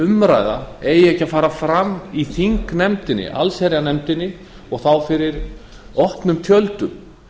umræða eigi ekki að fara fram í þingnefndinni allsherjarnefndinni og þá fyrir opnum tjöldum